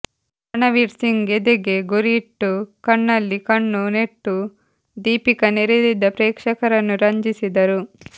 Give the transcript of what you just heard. ರಣವೀರ್ ಸಿಂಗ್ ಎದೆಗೆ ಗುರಿಯಿಟ್ಟು ಕಣ್ಣಲ್ಲಿ ಕಣ್ಣು ನೆಟ್ಟು ದೀಪಿಕಾ ನೆರೆದಿದ್ದ ಪ್ರೇಕ್ಷಕರನ್ನು ರಂಜಿಸಿದರು